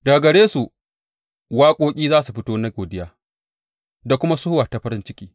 Daga gare su waƙoƙi za su fito na godiya da kuma sowa ta farin ciki.